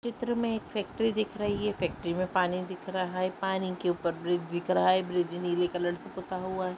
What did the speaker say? चित्र में एक फैक्ट्री दिख रही है फैक्ट्री में पानी दिख रहा है पानी के ऊपरी ब्रिज दिख रहा है ब्रिज नीले कलर से पुता हुआ है।